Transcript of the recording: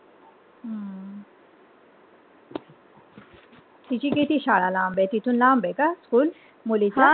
तिची किती शाळा लांब आहे तिथून लांब आहे का school मुलीचा?